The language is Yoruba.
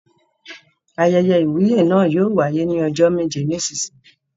Ayẹyẹ ìwúyè náà yóò wáyé ní ọjọ́ méje sí ìsinsìnyí.